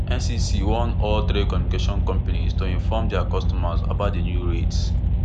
ncc warn all telecommunication companies to inform dia customers about di new rates